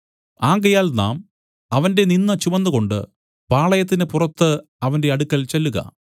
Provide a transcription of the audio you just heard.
ആകയാൽ നാം അവന്റെ നിന്ദ ചുമന്നുകൊണ്ടു പാളയത്തിന് പുറത്തു അവന്റെ അടുക്കൽ ചെല്ലുക